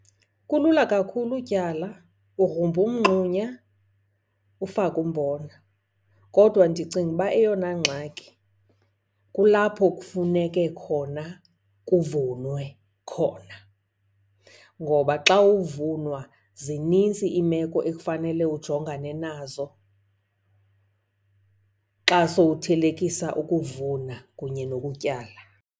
Kulula kakhulu utyala, ugrumba umngxunya ufake umbona. Kodwa ndicinga uba eyona ngxaki kulapho kufuneke khona kuvunwe khona. Ngoba xa uvunwa zinintsi iimeko ekufanele ujongane nazo xa sowuthelekisa ukuvuna kunye nokutyala.